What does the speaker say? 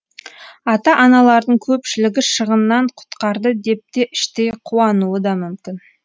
ата аналардың көпшілігі шығыннан құтқарды деп те іштей қуануы да мүмкін